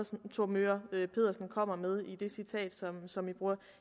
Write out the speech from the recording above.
som thor möger pedersen kommer med i det citat som man bruger